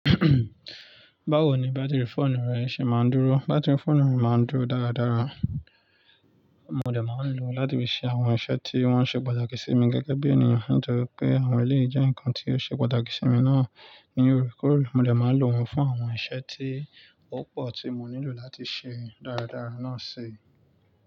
Báwo ni bátìrì fóònù rẹ ṣe máa ń dúró? Bátìrì fóònù mi máa ń dúró dáradára, mo dẹ̀ máa ń lò ó láti fi ṣe àwọn iṣẹ́ tí wọ́n ṣe pàtàkì sí mi gẹ́gẹ́ bí ènìyàn. Nítorí pé àwọn eleyi je nǹkan tí ó ṣe pàtàkì sí mi náà ni órekoòre, mo dẹ̀ máa lò wọ́n fún àwọn iṣẹ́ tí ó pọ̀ tí mo nílò láti ṣe dáradára náà ṣe.